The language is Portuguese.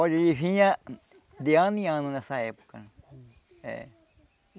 Olha, ele vinha de ano em ano nessa época. É.